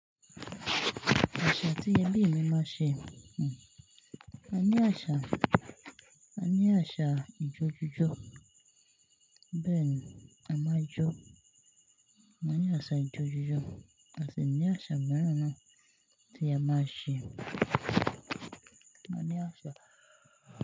Àṣà tí ẹbí mi máa ṣe, hm, a ní àṣà, a ní àṣà ijó jíjó. Bẹ́ẹ̀ ni a máa jó, a ní àṣà ijó jíjó, a sì ní àṣà mìíràn náà tí a máa ń ṣe. A ní àṣà.